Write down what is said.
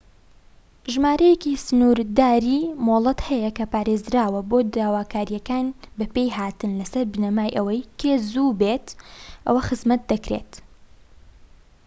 ژمارەیەکی سنورداری مۆڵەت هەیە کە پارێزراوە بۆ داواکاریەکانی بە پێ هاتن لە سەر بنەمای ئەوەی کێ زوو بێت ئەو خزمەت دەکرێت